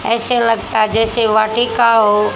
ऐसे लगता है जैसे वाटिका हो--